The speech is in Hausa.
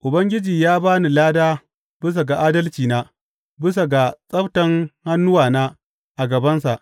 Ubangiji ya ba ni lada bisa ga adalcina, bisa ga tsabtan hannuwana a gabansa.